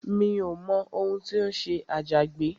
Mi ò mọ ohun tí ó ṣẹlẹ̀ sí Agbájé